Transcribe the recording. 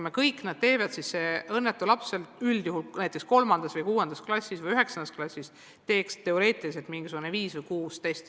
Kui kõik teevad kõike, siis õnnetu laps üldjuhul näiteks 3. või 6. klassis või 9. klassis teeks teoreetiliselt viis või kuus testi.